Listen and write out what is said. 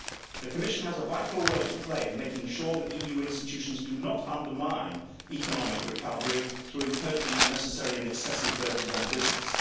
The Commission has a vital role to play in making sure the EU institutions do not undermine economic recovery through imposing unnecessary and excessive burdens on business.